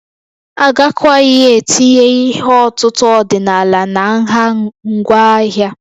Agakwaghị etinye ihe ọ̀tụ̀tụ̀ ọdịnala na nha ngwa ahịa